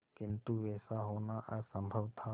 किंतु वैसा होना असंभव था